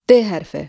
D hərfi.